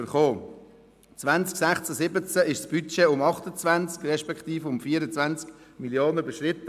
2016/17 wurde das Budget um 28 Mio. Franken respektive um 24 Mio. Franken überschritten.